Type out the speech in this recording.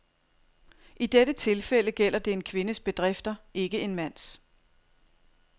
I dette tilfælde gælder det en kvindes bedrifter, ikke en mands.